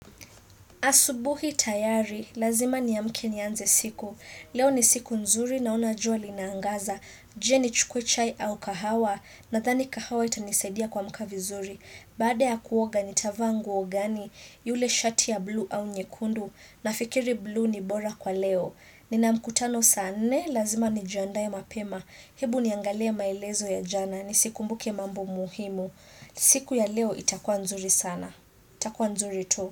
Asubuhi tayari, lazima niamke nianze siku. Leo ni siku nzuri naona jua linaangaza. Je nichukue chai au kahawa? Nadhani kahawa itanisaidia kuamka vizuri. Baada ya kuoga nitavaa nguo gani? Yule shati ya blue au nyekundu nafikiri blue ni bora kwa leo. Nina mkutano sa nne lazima nijiandae mapema. Hebu niangalie maelezo ya jana nisikumbuke mambo muhimu. Siku ya leo itakuwa nzuri sana. Itakua nzuri tu.